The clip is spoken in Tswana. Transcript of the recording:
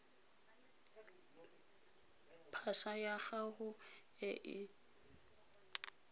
pasa ya gago e e